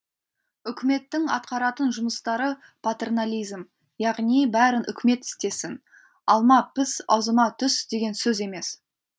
үкіметтің атқаратын жұмыстары патернализм яғни бәрін үкімет істесін алма піс аузыма түс деген сөз емес